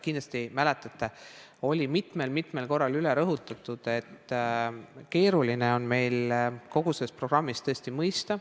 Kindlasti mäletate – seda sai mitmel-mitmel korral rõhutatud –, et kogu seda programmi on tõesti keeruline mõista.